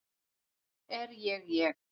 Er ég ég?